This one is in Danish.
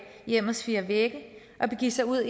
hjemmets fire vægge og begive sig ud